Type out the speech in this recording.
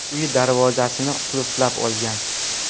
uyi darvozasini qulflab olgan.